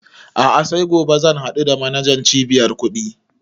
A'a sai gobe zan haɗu da manajan cibiyar kuɗi